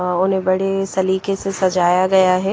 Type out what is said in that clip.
अ उने बड़ी सलीके से सजाया गया है --